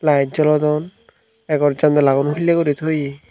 light jolodon egor jandalagun hulley guri tuyee.